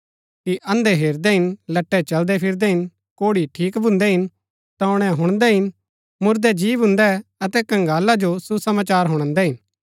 कि अन्धै हेरदै हिन लट्टै चलदै फिरदै हिन कोढ़ी ठीक भून्दै हिन टोणै हुणदै हिन मुरदै जी भून्दै अतै कंगाला जो सुसमाचार हुणादै हिन